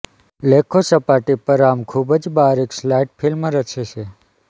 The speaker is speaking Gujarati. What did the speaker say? લેખો સપાટી પર આમ ખૂબ જ બારીક સલ્ફાઇડ ફિલ્મ રચે છે